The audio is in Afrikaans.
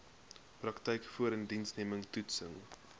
praktyk voorindiensneming toetsing